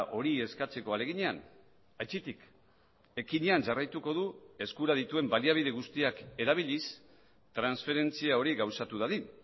hori eskatzeko ahaleginean aitzitik ekinean jarraituko du eskura dituen baliabide guztiak erabiliz transferentzia hori gauzatu dadin